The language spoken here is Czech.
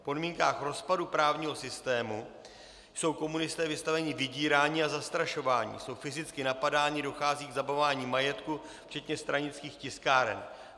V podmínkách rozpadu právního systému jsou komunisté vystaveni vydírání a zastrašování, jsou fyzicky napadáni, dochází k zabavování majetku včetně stranických tiskáren.